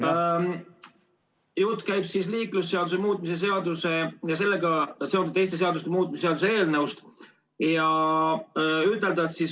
Jutt käib liiklusseaduse muutmise seaduse ja sellega seonduvalt teiste seaduste muutmise seaduse eelnõust.